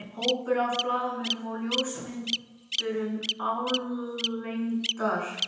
Hópur af blaðamönnum og ljósmyndurum álengdar.